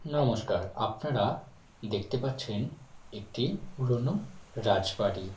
নমস্কার আপনারা দেখতে পাচ্ছেন একটি পুরনো রাজবাড়ি |